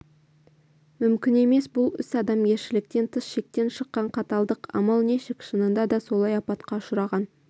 мүмкін емес бұл іс адамгершіліктен тыс шектен шыққан қаталдық амал нешік шынында да солай апатқа ұшыраған